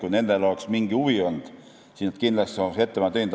Kui neil oleks mingi huvi olnud, siis nad kindlasti oleks ettepaneku teinud.